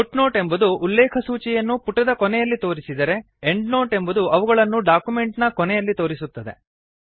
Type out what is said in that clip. foot note ಎಂಬುದು ಉಲ್ಲೇಖಸೂಚಿಯನ್ನು ಪುಟದ ಕೊನೆಯಲ್ಲಿ ತೋರಿಸಿದರೆ ಎಂಡ್ ನೋಟ್ ಎಂಬುದು ಅವುಗಳನ್ನು ಡಾಕ್ಯುಮೆಂಟ್ ನ ಕೊನೆಯಲ್ಲಿ ತೋರಿಸುತ್ತದೆ